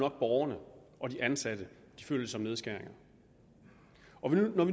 at borgerne og de ansatte føler det som nedskæringer